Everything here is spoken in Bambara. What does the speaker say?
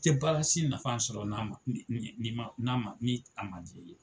I tɛ baara si nafa sɔrɔ n'a ma ni ni k'a man d'i ye.